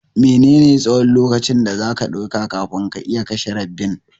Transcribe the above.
Mene ne tsahon lokaci da zaka ɗauka kafin ka iya kashe rabbin?